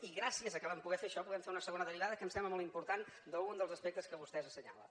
i gràcies al fet que vam poder fer això podem fer una segona derivada que em sembla molt important d’un dels aspectes que vostè assenyala